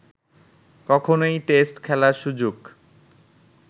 কখনোই টেস্ট খেলার সুযোগ